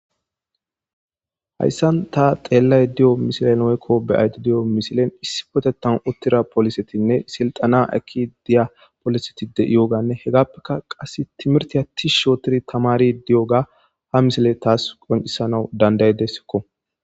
Hayssan ta xeellay di7o misilen oykko beyayti di7o misilen issi potetan uttira polisetinne silxana aki diya poliseti de iyooganne hegappeka qass timirti atti shootiri tamari di7oga ha misile taas qoncisana dandaydesikko.